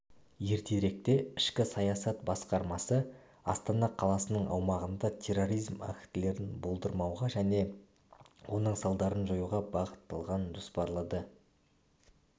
ертеректе ішкі саясат басқармасы астана қаласының аумағында терроризм актілерін болдырмауға және оның салдарын жоюға бағытталған жоспарлы